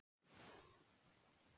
Á fætur með þig!